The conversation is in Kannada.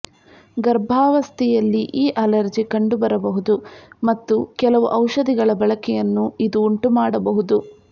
ಗರ್ಭಾವಸ್ಥೆಯಲ್ಲಿ ಈ ಅಲರ್ಜಿ ಕಂಡುಬರಬಹುದು ಮತ್ತು ಕೆಲವು ಔಷಧಿಗಳ ಬಳಕೆಯನ್ನು ಇದು ಉಂಟುಮಾಡಬಹುದು